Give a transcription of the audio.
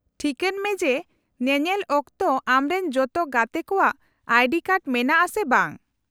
-ᱴᱷᱤᱠᱟᱹᱱ ᱢᱮ ᱡᱮ ᱧᱮᱧᱮᱞ ᱚᱠᱛᱚ ᱟᱢᱨᱮᱱ ᱡᱚᱛᱚ ᱜᱟᱛᱮ ᱠᱚᱣᱟᱜ ᱟᱭᱰᱤ ᱠᱟᱨᱰ ᱢᱮᱱᱟᱜᱼᱟ ᱥᱮ ᱵᱟᱝ ᱾